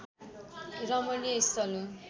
रमणीय स्थल हो